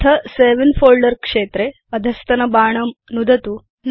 अथा save in folder क्षेत्रे अधस्तनबाणं नुदतु